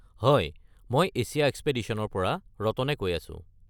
হয় মই এছিয়া এক্সপেডিশ্যনৰ পৰা ৰতনে কৈ আছো।